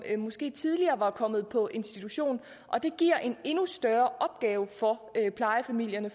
måske tidligere var kommet på en institution og det giver en endnu større opgave for plejefamilierne